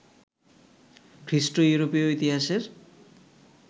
খ্রীষ্ট ইউরোপীয় ইতিহাসের